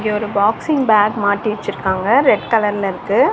ஒரு boxing bag மாட்டி வெச்சிருக்காங்க. ரெட் கலர்ல இருக்கு